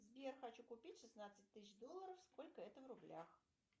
сбер хочу купить шестнадцать тысяч долларов сколько это в рублях